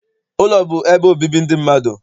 Ụlọ bụ ebe obibi ndị mmadụ.